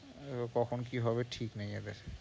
ও কখন কি হবে ঠিক নেই এদের।